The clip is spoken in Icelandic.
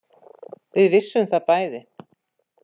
Við vissum það bæði.